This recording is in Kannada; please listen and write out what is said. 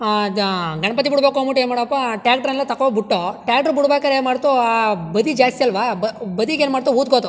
ಅ ಜ ಗಣಪತಿ ಬಿಡಬೇಕು ಏನ್ ಮಾಡಪ ಟ್ರ್ಯಾಕ್ಟರ್ ಎಲ್ಲ ತಕೋಹೋಗಬಿಟ್ಟು ಟ್ರ್ಯಾಕ್ಟರ್ ಬಿಡಬೇಕಾದ್ರೆ ಏನ್ ಮಾಡತ್ತು ಆಹ್ ಬದಿ ಜಾಸ್ತಿ ಅಲ್ಲವಾ ಬ ಬದಿಗೆ ಏನ್ ಮಾಡತು ಹೂದ್ಕೋತು.